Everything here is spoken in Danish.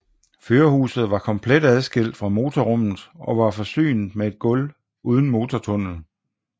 Førerhuset var komplet adskilt fra motorrummet og var forsynet med et gulv uden motortunnel